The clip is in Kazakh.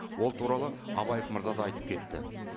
ол туралы абаев мырза да айтып кетті